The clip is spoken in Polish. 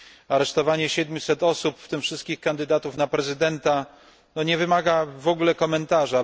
Aresztowanie siedmiuset osób, w tym wszystkich kandydatów na prezydenta nie wymaga w ogóle komentarza.